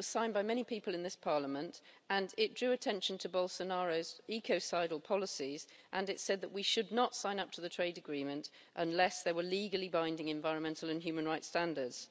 signed by many people in this Parliament, and it drew attention to Bolsonaro's ecocidal policies and said that we should not sign up to the trade agreement unless there were legally binding environmental and human rights standards.